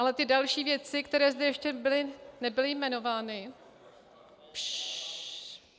Ale ty další věci, které zde ještě nebyly jmenovány - šššš.